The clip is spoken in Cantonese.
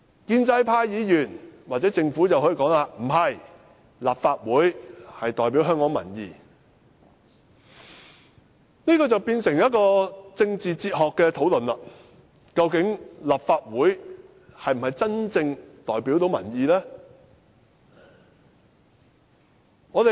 建制派議員或政府可以說不是，立法會是代表香港民意，但這樣便變成一項政治哲學討論，即究竟立法會是否真正能夠代表民意呢？